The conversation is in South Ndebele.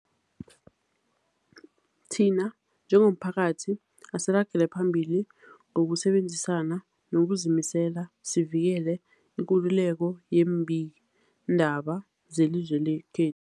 Thina njengomphakathi, asiragele phambili ngokusebenzisana ngokuzimisela sivikele ikululeko yeembikiindaba zelizwe lekhe